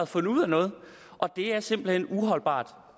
fundet ud af noget og det er simpelt hen uholdbart